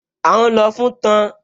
À ún lọ fún tan